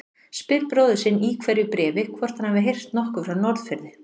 Spyr bróður sinn í hverju bréfi hvort hann hafi heyrt nokkuð frá Norðfirði.